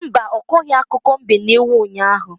Mba, ọ kọghị akụkọ mbe na ewu unyaahụ.